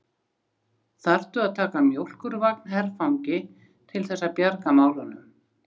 Þurftu að taka mjólkurvagn herfangi til þess að bjarga málunum!